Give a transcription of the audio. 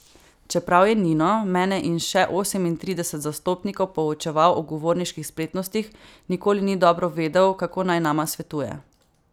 Čeprav je Nino, mene in še osemintrideset zastopnikov poučeval o govorniških spretnostih, nikoli ni dobro vedel, kako naj nama svetuje.